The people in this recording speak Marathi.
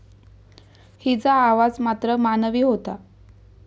हिचा आवाज मात्र मानवी होता.